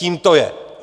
Tím to je!